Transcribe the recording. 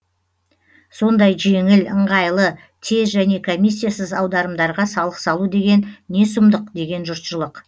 сондай жеңіл ыңғайлы тез және комиссиясыз аударымдарға салық салу деген не сұмдық деген жұртшылық